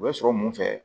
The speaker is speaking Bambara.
U bɛ sɔrɔ mun fɛ